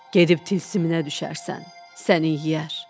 Gedib tilsiminə düşərsən, sənin yeyər.